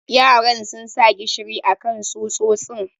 yaran sun sa gishiri akan tsutsotsin.